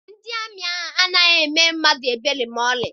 Ndị amị anaghị emere mmadụ ebere maọlị.